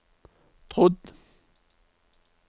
trodd